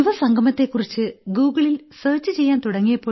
യുവസംഗമത്തെക്കുറിച്ച് ഗൂഗിളിൽ സെർച്ച് ചെയ്യാൻ തുടങ്ങിയ